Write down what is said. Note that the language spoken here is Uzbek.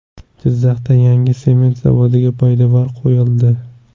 Jizzaxda yangi sement zavodiga poydevor qo‘yildi.